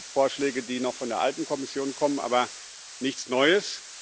Es gibt Vorschläge, die noch von der alten Kommission kommen, aber nichts Neues.